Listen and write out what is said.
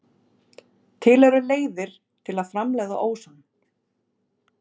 Til eru leiðir til að framleiða óson.